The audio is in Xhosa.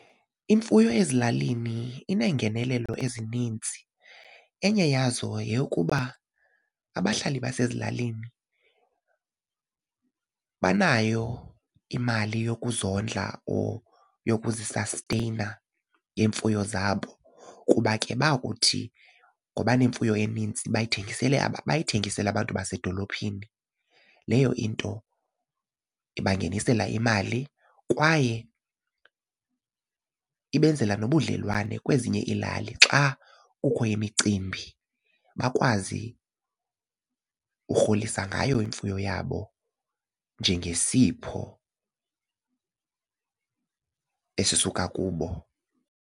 Imfuyo ezilalini iinengenelelo ezinintsi. Enye yazo yeyokuba abahlali basezilalini banayo imali yokuzondla or yokuzisasteyina ngeemfuyo zabo kuba ke bakuthi ngoba nemfuyo enintsi bayithengisele abantu basedolophini. Leyo into ibangenisela imali kwaye ibenzela nobudlelwane kwezinye iilali xa kukho imicimbi bakwazi urholisa ngayo imfuyo yabo njengesipho esisuka kubo.